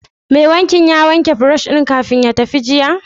Mai fenti ya wanke brush ɗin kafin ya tafi jiya?